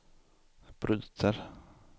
bryter